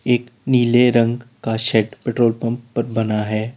एक नीले रंग का शेड पेट्रोल पंप पर बना है।